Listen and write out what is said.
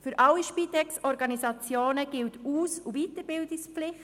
Für alle Spitex-Organisationen gilt Aus- und Weiterbildungspflicht.